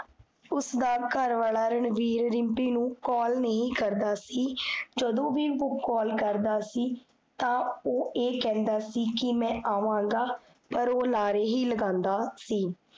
ਉਸਦਾ ਘਰਵਾਲਾ ਰਣਵੀਰ ਰਿਮ੍ਪੀ ਨੂੰ call ਨਹੀ ਕਰਦਾ ਸੀ ਜਦੋਂ ਵੀ ਓਹ call ਕਰਦਾ ਸੀ, ਤਾਂ ਓਹ ਇਹ ਕਹੰਦਾ ਸੀ ਕੀ ਮੈਂ ਆਵਾਂਗਾ, ਪਰ ਓਹ ਲਾਰੇ ਹੀ ਲਗਾਂਦਾ ਸੀ